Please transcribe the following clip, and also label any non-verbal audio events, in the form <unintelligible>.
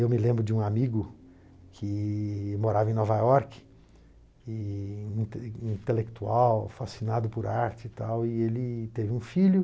Eu me lembro de um amigo que morava em Nova York, e <unintelligible> intelectual, fascinado por arte e tal, e ele teve um filho.